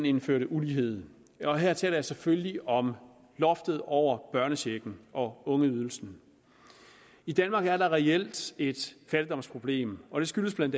indførte ulighed og her taler jeg selvfølgelig om loftet over børnechecken og ungeydelsen i danmark er der reelt et fattigdomsproblem og det skyldes bla at